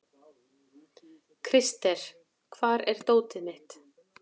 Krister, hvar er dótið mitt?